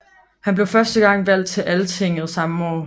Han blev første gang valgt til Altinget samme år